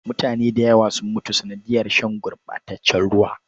Mutane da yawa sun mutu sanadiyar shan gurɓataccen ruwa.